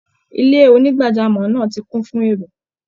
Ilé onígbàjámọ̀ náà ti kún fún èrò